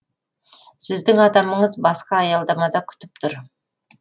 сіздің адамыңыз басқа аялдамада күтіп тұр